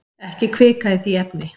Ekki hvika í því efni.